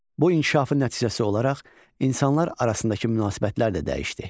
Bu inkişafın nəticəsi olaraq insanlar arasındakı münasibətlər də dəyişdi.